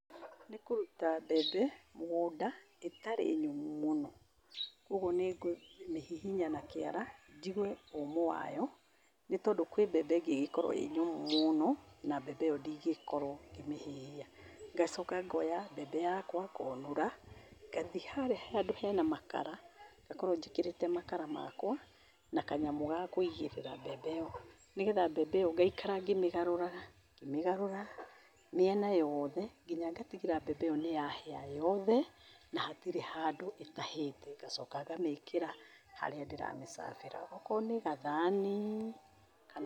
Nĩkũruta mbembe, mũgũnda, ĩtarĩ nyũmũ mũno, ũguo nĩngũmĩhihinya na kĩara, njigue ũmũ wayo. Nĩ tondũ kwĩ mbembe ĩngĩgĩkorũo ĩ nyũmũ mũno, na mbembe ĩyo ndingĩkorũo ngĩmĩhĩhĩa. Ngacoka ngoya mbembe yakũa, ngonũra, ngathiĩ harĩa handũ hena makara, ngakorũo njĩkĩrĩte makara makũa, na kanyamũ ga kũigĩrĩra mbembe ĩyo, nĩgetha mbembe ĩyo ngaĩkara ngĩmĩgarũraga, ngĩmĩgarũraga, mĩena yoothe, kĩnya ngatigĩrĩra mbembe ĩyo nĩyahĩa yothe, na hatirĩ handũ ĩtahĩte. Ngacoka ngamĩkĩra, harĩa ndĩramĩcabĩra, ona akorũo nĩ gathani, kana.